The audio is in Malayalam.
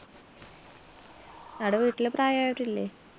ആട വീട്ടില് പ്രയായവരില്ലേ